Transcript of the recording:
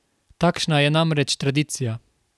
Takšna je namreč tradicija.